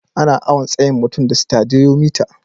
Ana awon tsayin mutum da Stadiyomitar.